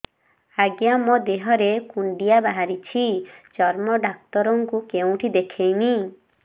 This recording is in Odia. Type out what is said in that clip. ଆଜ୍ଞା ମୋ ଦେହ ରେ କୁଣ୍ଡିଆ ବାହାରିଛି ଚର୍ମ ଡାକ୍ତର ଙ୍କୁ କେଉଁଠି ଦେଖେଇମି